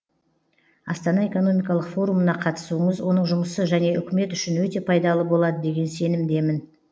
астана экономикалық форумына қатысуыңыз оның жұмысы және үкімет үшін өте пайдалы болады деген сенімдемін